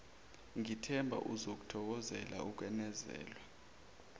ngithemba uzokuthokozela ukwenezelwa